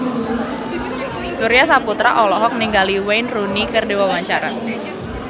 Surya Saputra olohok ningali Wayne Rooney keur diwawancara